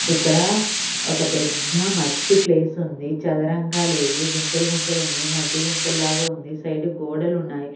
ఇక్కడ ఒక పెద్ద మట్టి ప్లేస్ ఉంది చదరంగా లేదు గుంతలు గుంతలు ఉంది మడ్డి గుంతలు లాగా ఉంది సైడ్ గోడలు ఉన్నాయి.